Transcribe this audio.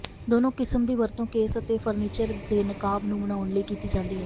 ਦੋਨੋਂ ਕਿਸਮ ਦੀ ਵਰਤੋਂ ਕੇਸ ਅਤੇ ਫ਼ਰਨੀਚਰ ਦੇ ਨਕਾਬ ਨੂੰ ਬਣਾਉਣ ਲਈ ਕੀਤੀ ਜਾਂਦੀ ਹੈ